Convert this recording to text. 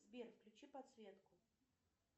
сбер включи подсветку